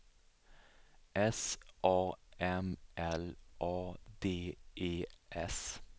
S A M L A D E S